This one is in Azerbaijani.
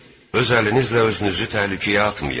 Öz əlinizlə özünüzü təhlükəyə atmayın.